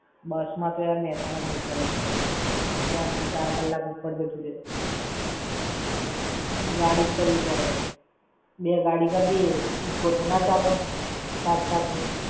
બસ માં તો મેહસાણા દૂર થઇ જાય. ત્રણ થી ચાર કલાક ઉપર જતું રેય. ગાડી જ કરવી પડે. બે ગાડી કરદીએ Eeco તો ના ચાલે? સાત-સાત ની!